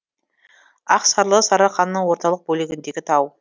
ақсарлы сарыарқаның орталық бөлігіндегі тау